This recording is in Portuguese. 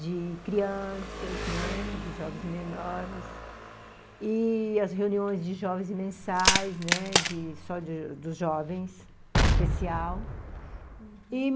de crianças, né, uhum, de jovens menores, e as reuniões de jovens mensais, né, de só dos jovens, especial, uhum, e